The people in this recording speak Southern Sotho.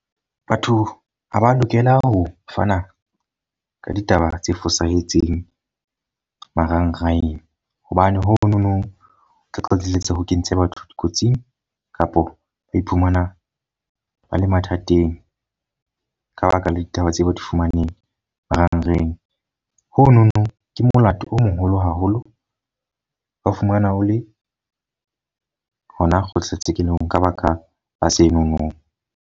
Batho ha ba lokela ho fana ka ditaba tse fosahetseng marangrang. Hobane ho no no tla qetelletse ho kentse batho dikotsing, kapo ba iphumana ba le mathateng ka baka la ditaba tseo ba di fumaneng marangrang. Ho no no ke molato o moholo haholo, wa fumana o le hona kgohla tshekelong ka baka ba la se no no.